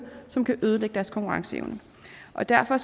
som kan ødelægge deres konkurrenceevne og derfor